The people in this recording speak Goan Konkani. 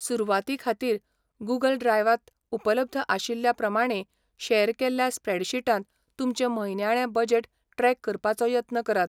सुरवाती खातीर, गूंगल ड्रायवा त उपलब्ध आशिल्ल्या प्रमाणें शेअर केल्ल्या स्प्रेडशीटांत तुमचें म्हयन्याळें बजेट ट्रॅक करपाचो यत्न करात.